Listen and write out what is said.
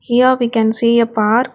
Here we can see a park.